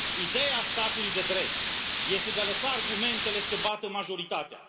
Ideea statului de drept este de a lăsa argumentele să bată majoritatea.